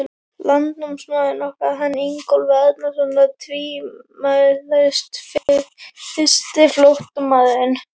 Landnámsmaðurinn okkar, hann Ingólfur Arnarson, var tvímælalaust fyrsti flóttamaðurinn.